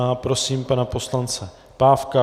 A prosím pana poslance Pávka.